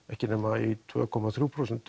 ekki nema tveir komma þrjú prósent